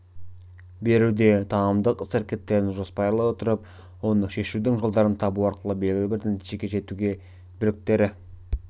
беруде танымдық іс-әрекеттерін жоспарлай отырып оны шешудің жолдарын табу арқылы белгілі бір нәтижеге жетуде біліктері